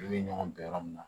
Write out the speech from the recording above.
U bɛ ɲɔgɔn bɛn yɔrɔ min na